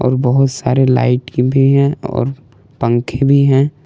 बहुत सारे लाइट भी हैं और पंखे भी हैं।